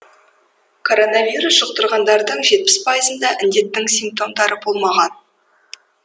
коронавирус жұқтырғандардың жетпіс пайызында індеттің симптомдары болмаған